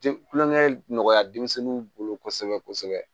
Kulonkɛ ye nɔgɔya denmisɛnninw bolo kosɛbɛ kosɛbɛ